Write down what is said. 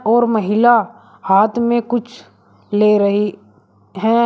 और महिला हाथ में कुछ ले रही है।